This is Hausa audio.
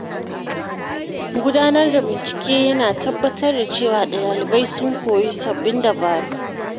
Gudanar da bincike ya na tabbatar da cewa ɗalibai sun koyi sabbin dabaru.